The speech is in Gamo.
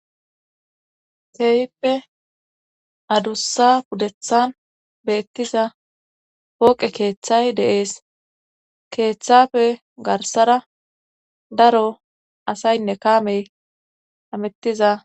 keeyippe adussa pudethan beettiza pooqe keeththay deees keeththafe garsara daro asaynne kaamey amettiza